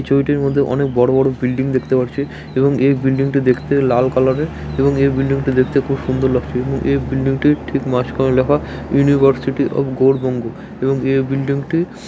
এই ছবিটির মধ্যে অনেক বড়ো বড়ো বিল্ডিং দেখতে পারছি এবং এই বিল্ডিংটি দেখতে লাল কালারের এবং এর বিল্ডিংটি দেখতে খুব সুন্দর লাগছে এবং এর বিল্ডিংটির ঠিক মাঝখানে লেখা ইউনিভার্সিটি অফ গৌড়বঙ্গ এবং এ বিল্ডিংটি --